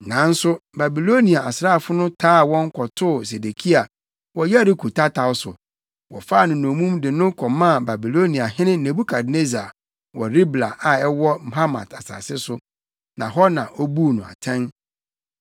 Nanso Babilonia asraafo no taa wɔn kɔtoo Sedekia wɔ Yeriko tataw so. Wɔfaa no dommum de no kɔmaa Babiloniahene Nebukadnessar wɔ Ribla a ɛwɔ Hamat asase so, na hɔ na obuu no atɛn.